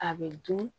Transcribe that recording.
A bɛ dun